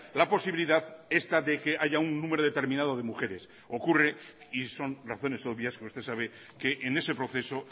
la posibilidad esta de que haya un número determinado de mujeres ocurre y son razones obvias que usted sabe que en ese proceso